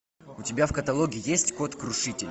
у тебя в каталоге есть кот крушитель